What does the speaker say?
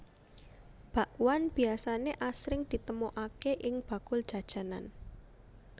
Bakwan biasané asring ditemokaké ing bakul jajanan